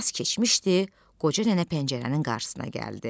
Bir az keçmişdi, qoca nənə pəncərənin qarşısına gəldi.